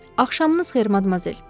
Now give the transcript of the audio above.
Axşamınız xeyir madmazel!